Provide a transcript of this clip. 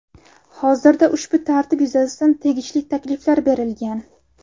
Hozirda ushbu tartib yuzasidan tegishli takliflar berilgan.